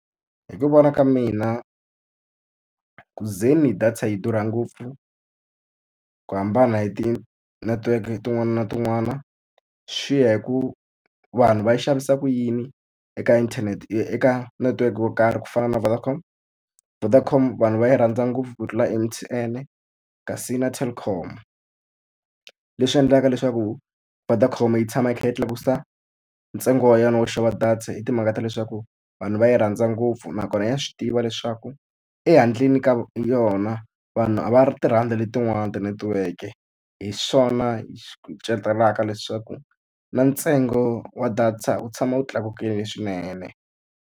Hi ku vona ka mina, ku ze ni data yi durha ngopfu ku hambana hi ti-network tin'wana na tin'wana, swi ya hi ku vanhu va yi xavisa ku yini eka inthanete eka network yo karhi. Ku fana na Vodacom, Vodacom vanhu va yi rhandza ngopfu ku tlula M_T_N-e kasi na Telkom. Leswi endlaka leswaku Vodacom yi tshama yi kha yi tlakusa ntsengo wa yona wo xava data hi timhaka ta leswaku vanhu va yi rhandza ngopfu, nakona ya swi tiva leswaku e handle ni ka yona vanhu a va ri ti rhandzi letin'wani tinetiweke. Hi swona hi kucetelaka leswaku na ntsengo wa data wu tshama wu tlakukile swinene.